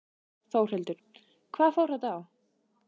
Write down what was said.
Þórhildur: Hvað fór þetta á?